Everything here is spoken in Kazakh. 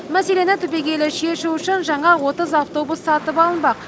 мәселені түбегейлі шешу үшін жаңа отыз автобус сатып алынбақ